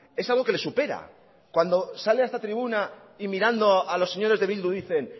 es algo que le supera cuando sale a esta tribuna y mirando a los señores de bildu dicen